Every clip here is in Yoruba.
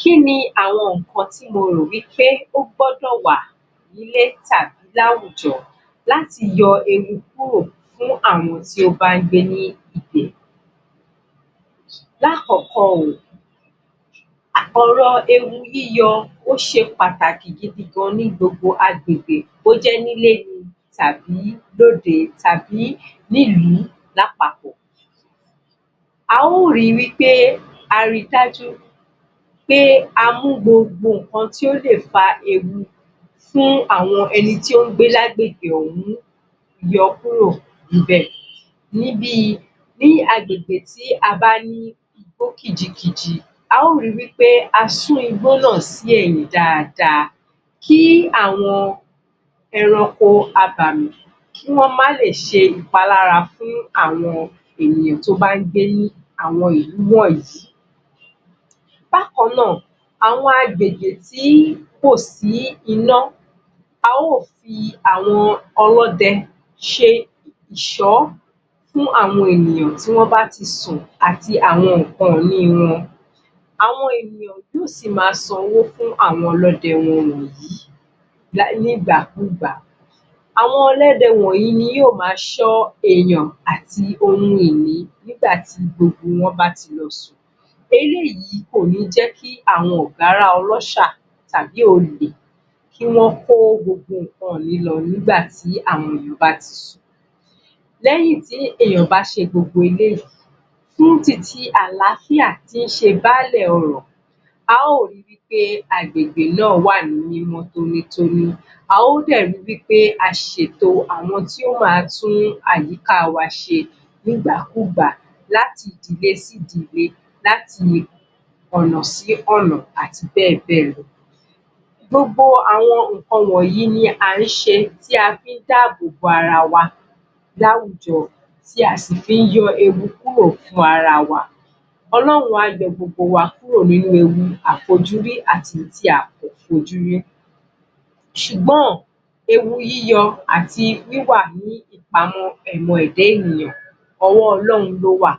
Kí ni àwọn nǹkan tíh mo rò wí pé ó gbọ́dọ̀ wà nílé tàbí láwùjọ láti yọ ewu kúrò fún àwọn tí ó bá ń gbé ibẹ̀ Lákọ̀ọ́kọ́ o, ọ̀rọ̀ ewu yíyọ ó ṣe pàtàkì gidi gan ní gbogbo agbègbè bó jẹ́ nílé ni tàbí lóde, tàbí nílùú lápapọ̀ A ó ri wí pé a ri dájú pé a mú gbogbo nǹkan tó lè fa ewu fún àwọn ẹni tó ń gbé lágbègbè ọ̀hún yọ kúrò níbẹ̀ ni bi...ní agbègbè tí a bá ní igbó kìjikìji a ó ri wí pé a sún igbó náà sí ẹ̀yìn dáadáa kí àwọn ẹranko abàmì kí wọ́n má lè ṣe ìpalára fún àwọn ènìyàn tí wọ́n bá ń gbé ní àwọn ìlú wọ̀nyí Bákan náà, Bákan náà, àwọn agbègbè tí kò sí iná a ó fi àwọn ọlọ́dẹ ṣe ìṣọ́ fún àwọn ènìyàn tí wọ́n bá ti sùn àti àwọn nǹkan ìní wọn àwọn ènìyàn yóò sì máa san owó fún àwọn ọlọ́dẹ wọ̀nyí ní ìgbàkúgbà Àwọn ọlọ́dẹ wọ̀nyí ni yóò máa ṣọ́ èèyàn àti ohun ìní nígbà tí gbogbo wọn bá ti lọ sùn Eléyìí kò ní jẹ́ kí àwọn ọ̀gárá ọlọ́ṣà, tàbií olè kí wọ́n kó gbogbo nǹkan ìnih lọ nígbà tí wọ́n bá ti sùn lẹ́yìn tí èèyàn bá ṣe gbogbo eléyìí fún titi àlááfíà tí í ṣe báalẹ̀ ọrọ̀ a ó ri wí pé agbègbè náà wà ní mímọ́ ní tónítóní, a ó dẹ̀ ri wí pé a ṣètò àwọn tí yóò má tún àyíká wa ṣe nígbàkúgbà láti ìdílé sí ìdílé láti ọ̀nà sí ọ̀nà àti bẹ́ẹ̀ bẹ́ẹ̀ lọ Gbogbo àwọn nǹkan wọ̀nyí ni à ń ṣe tí a fi ń dáàbò bo ara wa láwùjọ tí a sì fi ń yọ ewu kúrò fún ara wa Ọlọ́run á yọ gbogbo wa nínú ewu tí a fojú rí àti èyí tí a ò fojú rí ṣùgbọ́n, ewu yíyọ àti wíwà ní ìpamọ́ ẹ̀dá ènìyàn ọwọ́ Ọlọ́run ló wà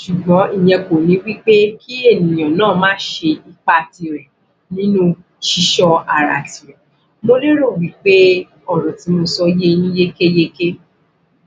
ṣùgbọ́n ìyẹn kò ní pé kí ènìyàn má kó ipa tirẹ̀ nínú ṣíṣọ́ ara tiwa Mo lérò wí pé ọ̀rọ̀ tí mo sọ ye yín yékéyéké